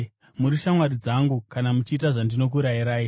Muri shamwari dzangu kana muchiita zvandinokurayirai.